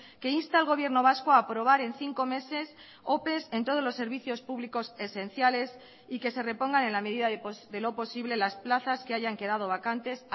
que insta al gobierno vasco a aprobar en cinco meses ope en todos los servicios públicos esenciales y que se repongan en la medida de lo posible las plazas que hayan quedado vacantes